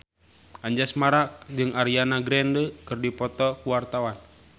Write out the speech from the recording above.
Anjasmara jeung Ariana Grande keur dipoto ku wartawan